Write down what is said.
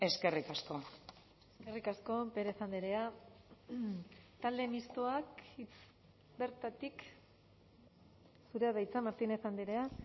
eskerrik asko eskerrik asko pérez andrea talde mistoak bertatik zurea da hitza martínez andrea